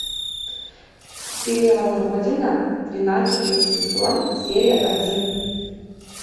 сериал родина двенадцатый сезон серия один